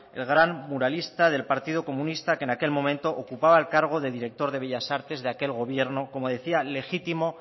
el gran muralista del partido comunista que en aquel momento ocupaba el cargo de director de bellas artes de aquel gobierno como decía legítimo